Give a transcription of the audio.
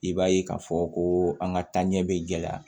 I b'a ye k'a fɔ ko an ka taaɲɛ bɛ gɛlɛya